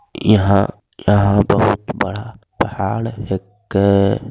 यहाँ यहाँ बहुत बड़ा पहाड़ हैके |